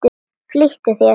Flýttu þér.